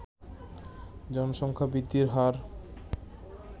জনসংখ্যা বৃদ্ধির হার